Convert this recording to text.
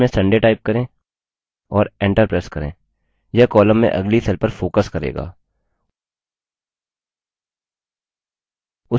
cell में sunday type करें और enter press करें यह column में अगली cell पर focus करेगा